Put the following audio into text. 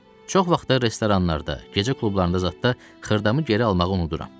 Çox vaxtı da restoranlarda, gecə klublarında zada xırdamı geri almağı unuduram.